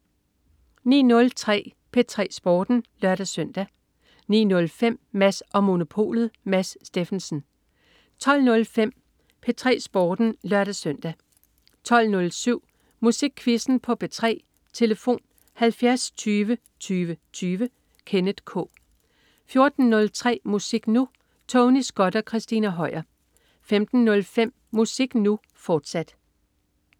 09.03 P3 Sporten (lør-søn) 09.05 Mads & Monopolet. Mads Steffensen 12.05 P3 Sporten (lør-søn) 12.07 Musikquizzen på P3. Tlf.: 70 20 20 20. Kenneth K 14.03 Musik Nu! Tony Scott og Christina Høier 15.05 Musik Nu!, fortsat